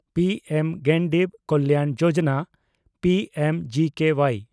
P M Garib Kalyan Yojana (P M G K Y)